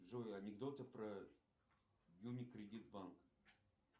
джой анекдоты про юникредит банк